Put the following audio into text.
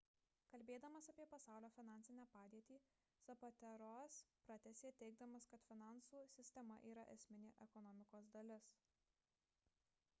kalbėdamas apie pasaulio finansinę padėtį zapatero'as pratęsė teigdamas kad finansų sistema yra esminė ekonomikos dalis